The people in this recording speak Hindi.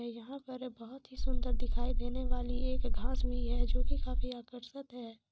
यहा पर एक बहुत ही सुंदर दिखाय देने वाली एक घास भी है जो की काफी आकर्षक है।